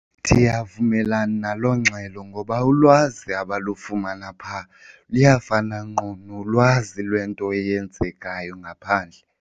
Ndiyavumelana naloo ngxelo ngoba ulwazi abalufumani phaa luyafana ngqo nolwazi lwento eyenzekayo ngaphandle.